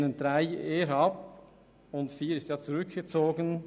Den Punkt 3 lehnen wir eher ab, und der Punkt 4 wurde zurückgezogen.